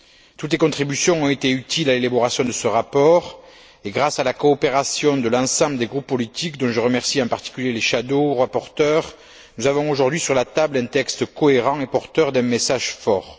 Toutes les contributions ont été utiles à l'élaboration de ce rapport et grâce à la coopération de l'ensemble des groupes politiques, dont je remercie en particulier les rapporteurs fictifs, nous avons aujourd'hui sur la table un texte cohérent et porteur d'un message fort.